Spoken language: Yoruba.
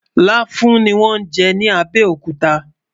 làfùn ní wón jé ní abéòkúta